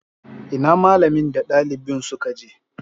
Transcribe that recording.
Ina malamin da dalibin suka je?